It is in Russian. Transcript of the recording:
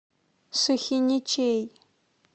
сухиничей